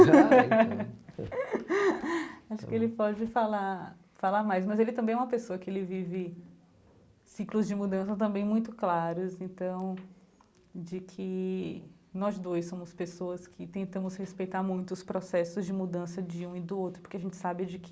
Acho que ele pode falar falar mais, mas ele também é uma pessoa que vive ciclos de mudança também muito claros, então de que nós dois somos pessoas que tentamos respeitar muito os processos de mudança de um e do outro, porque a gente sabe de que